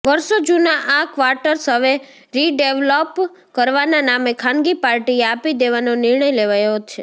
વર્ષો જુના આ ક્વાટર્સ હવે રિડેવલોપ કરવાના નામે ખાનગી પાર્ટીએ આપી દેવાનો નિર્ણય લેવાયો છે